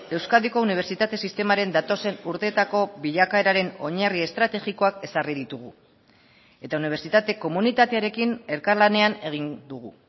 euskadiko unibertsitate sistemaren datozen urteetako bilakaeraren oinarri estrategikoak ezarri ditugu eta unibertsitate komunitatearekin elkarlanean egin dugu